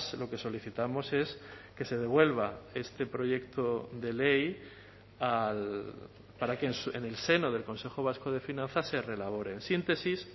lo que solicitamos es que se devuelva este proyecto de ley para que en el seno del consejo vasco de finanzas se reelaboren síntesis